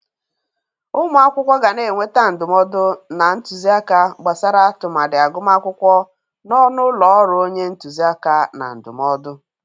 Ụmụ akwụkwọ ga na-enweta ndụmọdụ na ntuzi aka gbasara tụmadị agụmakwụkwọ n'ọnụ ụlọ ọrụ onye ntuzi aka na ndụmọdụ.